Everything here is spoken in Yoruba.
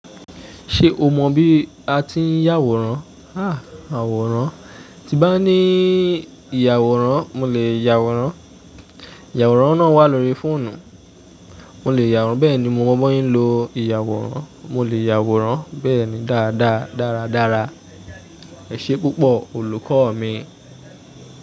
Ṣé o mọ bí a ti ń yàwòrán? Àwòrán, tí bá ní ìyàwòrán, mo lè yàwòrán. Ìyàwòrán náà wà lórí fóònù. Mo lè yàwòrán. Bẹ́ẹ̀ni mo mọ bọ́ ye ń lo ìyàwòrán. Mo lè yàwòrán bẹ́ẹ̀ni dáadaa dáradára. Ẹ̀ṣẹ̀ púpọ̀ olùkọ́ mi.